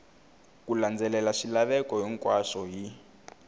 ku landzelela swilaveko hinkwaswo hi